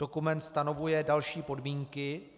Dokument stanovuje další podmínky.